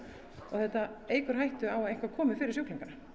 þetta eykur hættu á að eitthvað komi fyrir sjúklingana